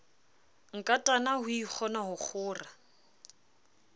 nkatana ho ikgona ho kgora